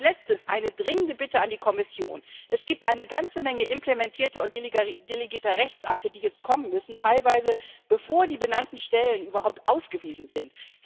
Als letztes eine dringende Bitte an die Kommission Es gibt eine ganze Menge Durchführungsrechtsakte und delegierte Rechtsakte, die jetzt kommen müssen, teilweise bevor die benannten Stellen überhaupt ausgewiesen sind.